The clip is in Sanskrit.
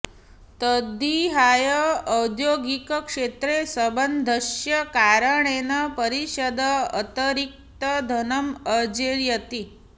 तद्विहाय औद्यौगिकक्षेत्रे सम्बन्धस्य कारणेन परिषद् अतिरिक्तं धनम् अर्जयति